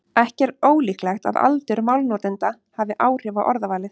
Ekki er ólíklegt að aldur málnotenda hafi áhrif á orðavalið.